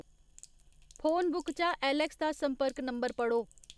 phone book चा Alex दा संपर्क नंबर पढ़ो